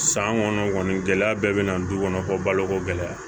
San kɔnɔ kɔni gɛlɛya bɛɛ bɛ na du kɔnɔ ko baloko gɛlɛya